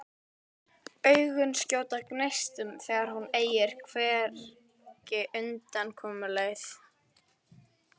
Augun skjóta gneistum þegar hún eygir hvergi undankomuleið.